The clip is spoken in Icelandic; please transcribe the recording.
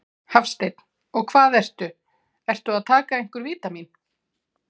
Hafsteinn: Og hvað ertu, ertu að taka einhver vítamín?